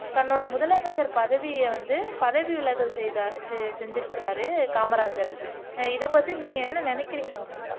தன்னோட முதலமைச்சர் பதவியை வந்து பதவி விலகல் செய்தார் செஞ்சுருக்கிறார்